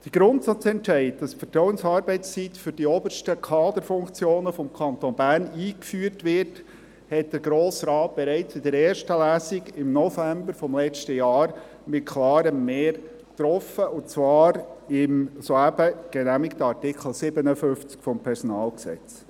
Den Grundsatzentscheid, wonach die Vertrauensarbeitszeit für die obersten Kaderfunktionen des Kantons Bern eingeführt wird, hat der Grosse Rat bereits in der ersten Lesung im November letzten Jahres mit klarem Mehr getroffen, und zwar im soeben genehmigten Artikel 57 PG.